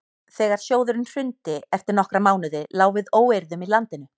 þegar sjóðurinn hrundi eftir nokkra mánuði lá við óeirðum í landinu